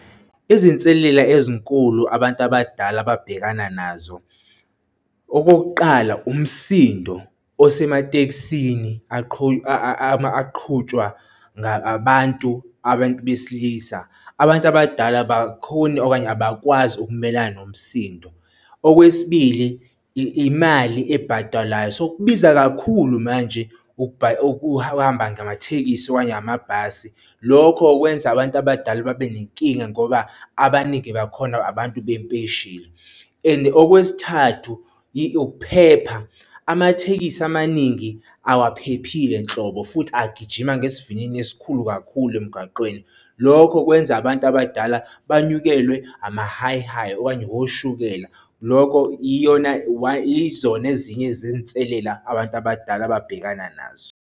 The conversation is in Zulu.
Izinselela ezinkulu abantu abadala ababhekana nazo. Okokuqala, umsindo osematekisini aqhutshwa abantu, abantu besilisa. Abantu abadala abakhoni okanye abakwazi ukumelana nomsindo. Okwesibili, imali ebhatalwayo, so kubiza kakhulu manje ukuhamba ngamathekisi okanye amabhasi. Lokho kwenza abantu abadala babe nenkinga ngoba abaningi bakhona, abantu bempesheni. And okwesithathu, ukuphepha, amathekisi amaningi awaphephile nhlobo futhi agijima ngesivinini esikhulu kakhulu emgaqweni, lokho kwenza abantu abadala banyukelwe ama-high high okanye oshukela. Lokho iyona izona ezinye zezinselela abantu abadala ababhekana nazo.